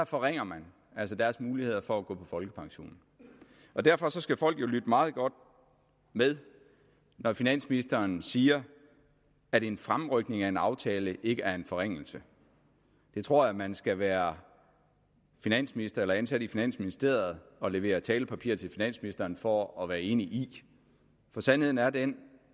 forringer deres muligheder for at gå på folkepension derfor skal folk jo lytte meget godt med når finansministeren siger at en fremrykning af en aftale ikke er en forringelse det tror jeg man skal være finansminister eller ansat i finansministeriet og levere talepapir til finansministeren for at være enig i sandheden er den